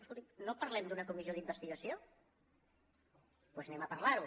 escolti no parlem d’una comissió d’investigació doncs anem a parlar ne